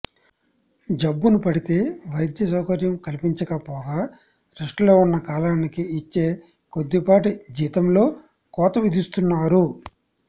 జబ్బున పడితే వైద్య సౌకర్యం కల్పించక పోగా రెస్ట్లో ఉన్న కాలానికి ఇచ్చే కొద్దిపాటి జీతంలో కోత విధిస్తున్నారు